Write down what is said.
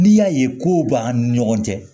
N'i y'a ye ko b'an ni ɲɔgɔn cɛ